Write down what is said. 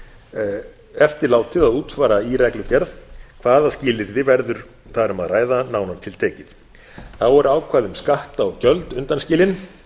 eftirlátið að útfæra í reglugerð hvaða skilyrði verður þar um að ræða nánar tiltekið þá eru ákvæði um skatta og gjöld undanskilin